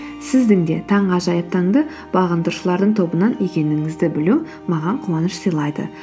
сіздің де таңғажайып таңды бағындырушылардың тобынан екеніңізді білу маған қуаныш сыйлайды